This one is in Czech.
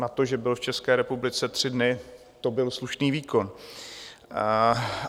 Na to, že byl v České republice tři dny, to byl slušný výkon.